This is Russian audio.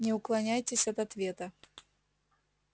не уклоняйтесь от ответа